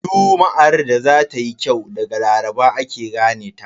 Juma'ar da za tayi kyau daga Laraba ake gane ta.